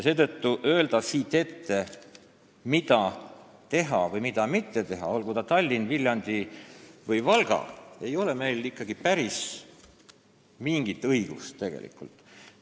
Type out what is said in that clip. Seetõttu ei ole meil tegelikult mingit õigust siit neile ette öelda, mida tuleb või ei tule teha, olgu jutt Tallinnast, Viljandist või Valgast.